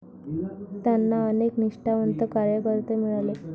त्यांना अनेक निष्ठावंत कार्यकर्ते मिळाले.